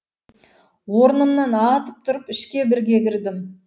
орнымнан атып тұрып ішке бірге кірдім